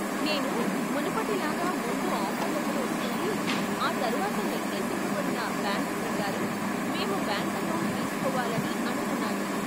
నేను మునుపటి లాగా ముందు ఆఫర్ లెటర్ వస్తుంది, ఆ తర్వాత నిర్దేశింపబడిన బ్యాంకు ప్రకారం, మేము బ్యాంకు అకౌంట్ తీసుకోవాలని అనుకున్నాను.